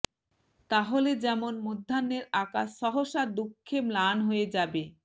তাহলে যেমন মধ্যাহ্নের আকাশ সহসা দুঃখে ম্লান হয়ে যাবে